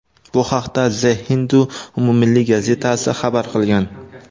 Bu haqda The Hindu umummilliy gazetasi xabar qilgan .